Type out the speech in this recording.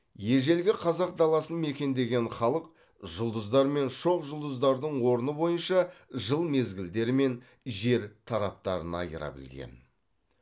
ежелгі қазақ даласын мекендеген халық жұлдыздар мен шоқжұлдыздардың орны бойынша жыл мезгілдері мен жер тараптарын айыра білген